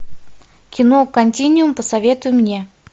кино континуум посоветуй мне